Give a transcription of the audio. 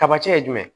Tamacɛ jumɛn